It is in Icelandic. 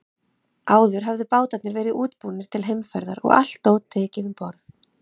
Áður höfðu bátarnir verið útbúnir til heimferðar og allt dót tekið um borð.